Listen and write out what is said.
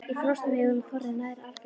Í frostum hefur hún þorrið nær algerlega.